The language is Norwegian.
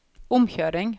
omkjøring